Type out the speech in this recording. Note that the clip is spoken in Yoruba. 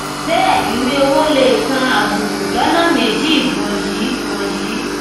bẹẹ ìwé owo lè kan àbùkù lọnà méjì wọnyìí wọnyìí